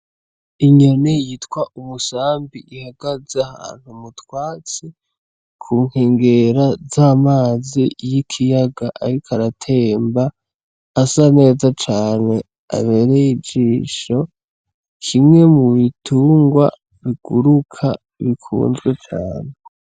Inyoni yitwa Umusambi ihagaze ahantu mu twatsi, ku nkengera z'amazi y'ikiyaga ariko aratemba, asa neza cane, abereye ijisho. Kimwe mu bitungwa biguruka, bikunzwe cane.